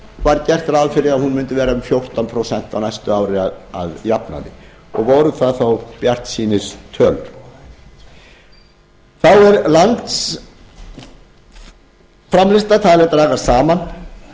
var gert ráð fyrir að hún mundi verða um fjórtán prósent á næsta ári að jafnaði og voru það þó bjartsýnistölur þá er landsframleiðsla talin dragast saman